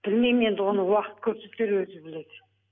білмеймін енді оны уақыт көрсетер өзі біледі